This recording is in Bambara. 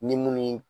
Ni munnu ye